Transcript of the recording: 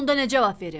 Onda nə cavab verim?